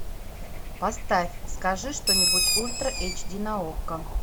поставь скажи что нибудь ультра эйч ди на окко